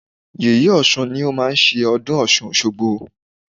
Yèyé Ọ̀ṣun ni ó máa ń ṣe ọdún Ọ̀ṣun òṣogbo.